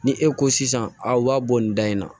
Ni e ko sisan a b'a bɔ nin da in na